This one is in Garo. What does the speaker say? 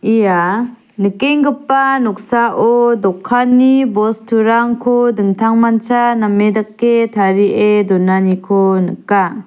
ia nikenggipa noksao dokanni bosturangko dingtangmancha name dake tarie donaniko nika.